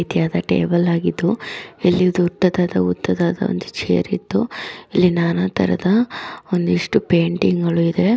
Table ಆಗಿದ್ದು ಇಲ್ಲಿ ದೊಡ್ಡದಾದ ಉದ್ದಾದಾದ ಒಂದು ಚೇರ್‌ ಇದ್ದು ಇಲ್ಲಿ ನಾನಾ ತರಹದ ಒಂದಿಷ್ಟು ಪೇಯಿಟಿಂಗ್ ಇದೆ.